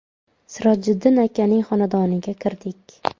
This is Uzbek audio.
Sirojiddin akaning xonadoniga kirdik.